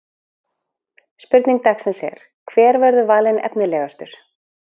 Spurning dagsins er: Hver verður valinn efnilegastur?